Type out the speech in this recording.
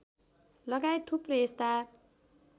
लगायत थुप्रै यस्ता